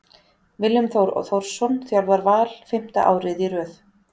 Willum Þór Þórsson þjálfar Val fimmta árið í röð.